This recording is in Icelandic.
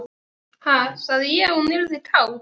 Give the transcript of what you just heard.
Ha, sagði ég að hún yrði kát?